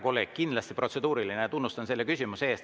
Kindlasti oli see protseduuriline ja tunnustan selle küsimuse eest.